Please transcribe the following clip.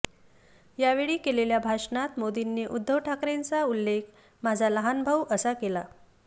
यावेळी केलेल्या भाषणात मोदींनी उद्धव ठाकरेंचा उल्लेख माझा लहान भाऊ असा केला